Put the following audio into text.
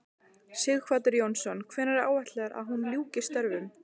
Sighvatur Jónsson: Hvenær er áætlað að hún ljúki störfum?